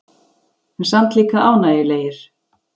En samt líka ánægjulegir.